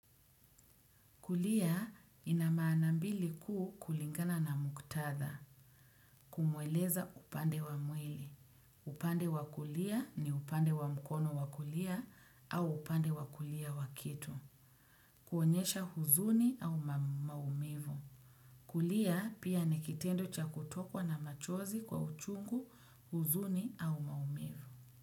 Kulia ina maana mbili kuu kulingana na muktatha kumweleza upande wa mwili. Upande wa kulia ni upande wa mkono wa kulia au upande wa kulia wa kitu. Kuonyesha huzuni au maumivu. Kulia pia ni kitendo cha kutokwa na machozi kwa uchungu huzuni au maumivu.